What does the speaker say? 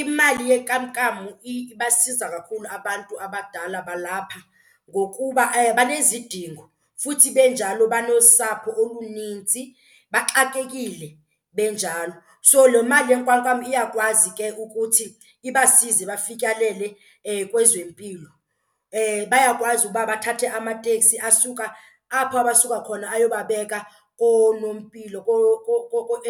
Imali yenkamnkam ibasiza kakhulu abantu abadala balapha ngokuba banezidingo futhi benjalo banosapho olunintsi, baxakekile benjalo. So le mali yenkamnkam iyakwazi ke ukuthi ibasize bafikelele kwezempilo. Bayakwazi uba bathathe amateksi asuka apho abasuka khona ayobabeka koonompilo